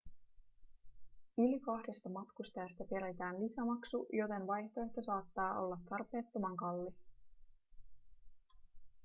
yli kahdesta matkustajasta peritään lisämaksu joten vaihtoehto saattaa olla tarpeettoman kallis